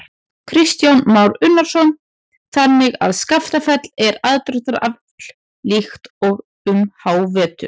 Kristján Már Unnarsson: Þannig að Skaftafell er aðdráttarafl líka um hávetur?